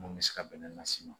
Mun bɛ se ka bɛnɛ las'i ma